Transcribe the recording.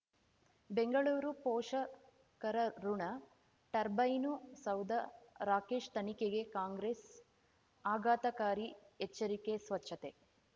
ಬೆಂಗಳೂರು ಪೋಷಕರಋಣ ಟರ್ಬೈನು ಸೌಧ ರಾಕೇಶ್ ತನಿಖೆಗೆ ಕಾಂಗ್ರೆಸ್ ಆಘಾತಕಾರಿ ಎಚ್ಚರಿಕೆ ಸ್ವಚ್ಛತೆ